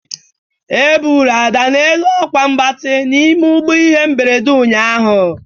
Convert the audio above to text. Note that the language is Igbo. Eburu Ada n'elu akwa mgbati n'ime ụgbọ ihe mberede ụnyaahụ.